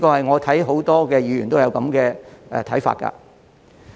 我看到很多議員都有這個看法。